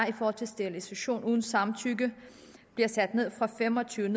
i forhold til sterilisation uden samtykke bliver sat ned fra fem og tyve